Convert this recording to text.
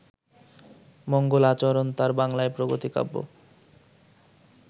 মঙ্গলাচরণ তাঁর বাংলায় প্রগতি-কাব্য